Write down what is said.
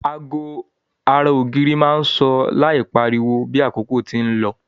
Ago ara ògiri má n so láì pariwo bi àkókò ti n lo